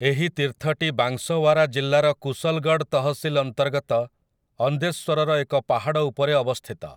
ଏହି ତୀର୍ଥଟି ବାଂଶୱାରା ଜିଲ୍ଲାର କୁଶଲଗଡ଼ ତହସିଲ ଅନ୍ତର୍ଗତ ଅନ୍ଦେଶ୍ୱରର ଏକ ପାହାଡ଼ ଉପରେ ଅବସ୍ଥିତ ।